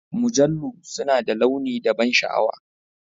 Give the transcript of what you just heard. Mujallu suna da launi da ban sha'awa.